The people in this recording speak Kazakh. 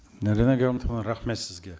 наринэ гамлетовна рахмет сізге